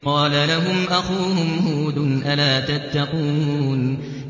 إِذْ قَالَ لَهُمْ أَخُوهُمْ هُودٌ أَلَا تَتَّقُونَ